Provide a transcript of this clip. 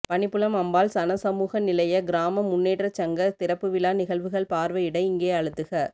பணிப்புலம் அம்பாள் சனசமூக நிலைய கிராம முன்னேற்றச் சங்க திறப்பு விழா நிகழ்வுகள் பார்வையிட இங்கே அழுத்துக